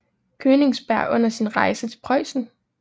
Königsberg under sin rejse til Preussen